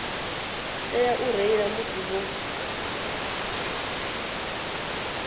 tea u reila musi vho